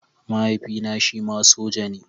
Mahaifina shima soja ne.